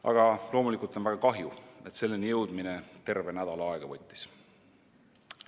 Aga loomulikult on väga kahju, et selleni jõudmine terve nädala aega võttis.